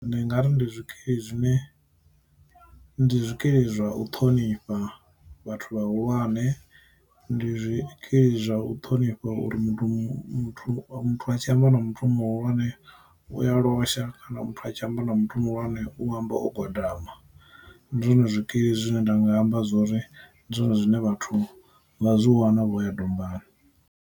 Ndi ngari ndi zwikili zwine ndi zwikili zwa u ṱhonifha vhathu vhahulwane, ndi zwikili zwa u ṱhonifha uri muthu muthu muthu a tshi amba na muthu muhulwane ane uya losha kana muthu a tshi amba na muthu muhulwane u amba o gwagwama, ndi zwone zwikili zwine nda nga amba zwori ndi zwone zwine vhathu vha zwi wana vho ya dombani.